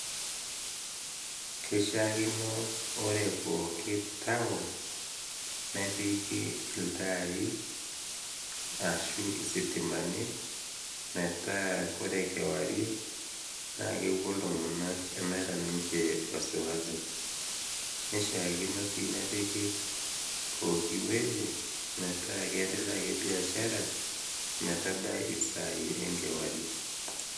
keishakino ore pooki town nepiki iltai ashu isitimani metaa kore kewarie naa kepuo iltung'anak emeeta ninche wasiwasi neishiakino sii nepiki pokiwueji metaa kiendelea ake biashara ometabai isai enkewarie.